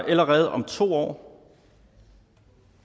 allerede om to år